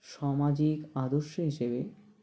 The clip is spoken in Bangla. সমাজিক আদর্শ হিসেবে